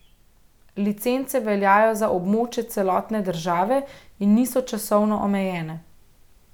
Licence veljajo za območje celotne države in niso časovno omejene.